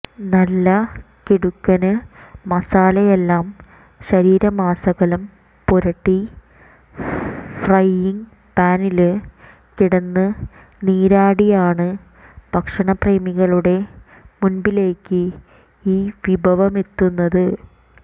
നല്ല കിടുക്കന് മസാലയെല്ലാം ശരീരമാസകലം പുരട്ടി ഫ്രൈയിങ് പാനില് കിടന്ന് നീരാടിയാണ് ഭക്ഷണപ്രേമികളുടെ മുന്പിലേക്ക് ഈ വിഭവമെത്തുന്നത്